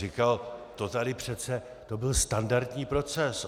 Říkal: To tady přece, to byl standardní proces.